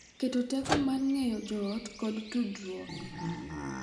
Keto teko mar ng’eyo joot kod tudruok.